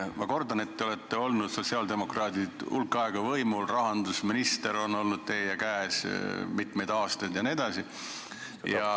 Ma kordan, et teie, sotsiaaldemokraadid, olete olnud hulk aega võimul, rahandusministri portfell on olnud teie käes mitmeid aastaid jne.